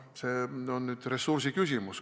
See on nüüd ressursi küsimus.